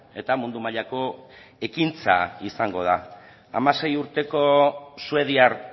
eta mundu mailako ekintza izango da hamasei urteko suediar